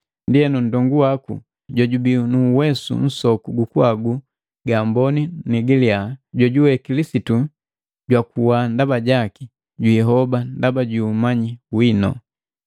Ndienu, nndongu waku jojubii nu uwesu nsoku gukuhagu nga amboni ni giliya jojuwe Kilisitu jwakuwa ndaba jaki, jihoba ndaba ju umanyi wino.